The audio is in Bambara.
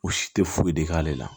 O si tɛ foyi de k'ale la